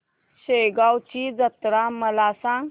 शेगांवची जत्रा मला सांग